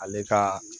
Ale ka